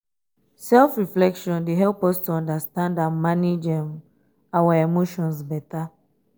self-reflection dey help us to understand and manage um our emotions beta.